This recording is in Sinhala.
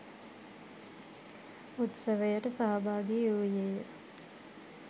උත්සවයට සහභාගි වූයේය